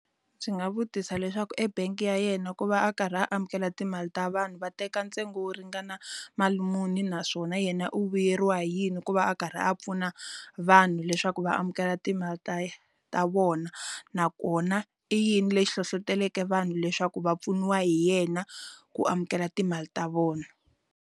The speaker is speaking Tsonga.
Swi nga vutisa leswaku ebank ya yena ku va a karhi amukela timali ta vanhu va teka ntsengo wo ringana mali muni naswona yena u vuyeriwa hi yini ku va a karhi a pfuna vanhu leswaku va amukela timali ta vona nakona i yini lexi hlohloteleke vanhu leswaku va pfuniwa hi yena ku amukela timali ta vona.